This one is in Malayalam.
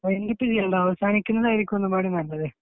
വൈൻഡ് അപ്പ് ചെയ്യണ്ട അവസാനിപ്പിക്കുന്നതായിരിക്കും നല്ലത്